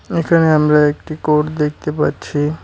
এখানে আমরা একটি কোড দেখতে পাচ্ছি।